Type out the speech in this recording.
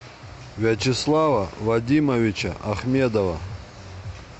вячеслава вадимовича ахмедова